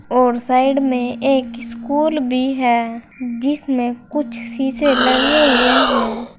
और साइड में एक स्कूल भी है जिसमें कुछ शीशे लगे हुए हैं।